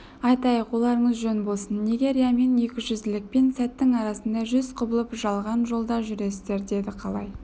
айтайық оларыңыз жөн болсын неге риямен екіжүзділікпен сәттің арасында жүз құбылып жалған жолда жүресіздер деді қалай